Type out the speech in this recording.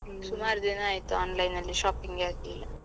ದಿನ ಆಯ್ತು online ಅಲ್ಲಿ shopping ಏ ಆಗ್ಲಿಲ್ಲ.